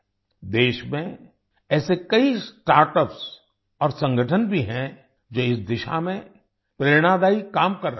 देश में ऐसे कई स्टार्टअप्स और संगठन भी हैं जो इस दिशा में प्रेरणादायी काम कर रहे हैं